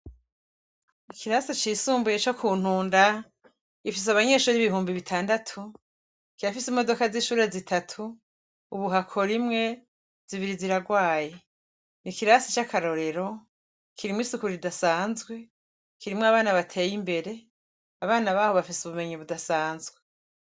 Ikirasi cisumbuye co ku ntunda ifise abanyesho r'ibihumbi bitandatu kirafise imodoka z'inshura zitatu ubuhako rimwe zibiri ziragwaye ni ikirasi c'akarorero kirimwo isukuru ridasanzwe kirimwo abana bateye imbere abana baho bafise ubumenyi budasanzwe.